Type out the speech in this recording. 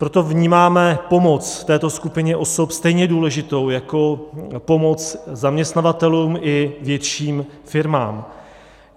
Proto vnímáme pomoc této skupině osob stejně důležitou jako pomoc zaměstnavatelům i větším firmám.